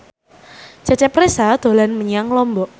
Cecep Reza dolan menyang Lombok